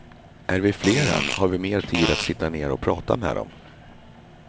Är vi flera har vi mer tid att sitta ner och prata med dem.